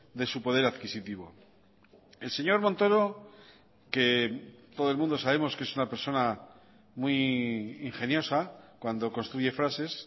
de su poder adquisitivo el señor montoro que todo el mundo sabemos que es una persona muy ingeniosa cuando construye frases